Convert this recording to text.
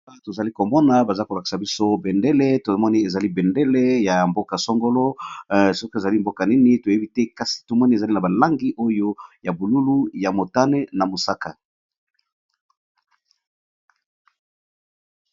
boa tozali komona baza kolakisa biso bendele tomoni ezali bendele ya mboka songolo soki ezali mboka nini toyebi te kasi tomoni ezali na balangi oyo ya bolulu ya motane na mosaka